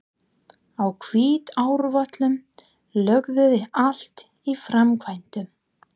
Á Hvítárvöllum logaði allt í framkvæmdum.